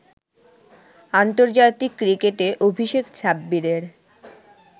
আন্তর্জাতিক ক্রিকেটে অভিষেক সাব্বিরের